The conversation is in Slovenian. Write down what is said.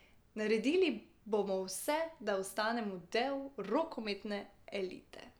Naredili bomo vse, da ostanemo del rokometne elite.